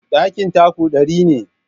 Ɗakin taku ɗari ne.